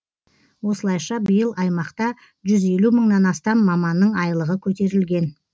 осылайша биыл аймақта жүз елу мыңнан астам маманның айлығы көтерілген